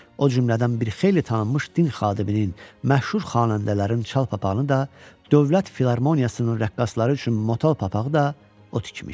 O cümlədən bir xeyli tanınmış din xadiminin, məşhur xanəndələrin çal papağını da, Dövlət Filarmoniyasının rəqqasları üçün motal papağı da o tikmişdi.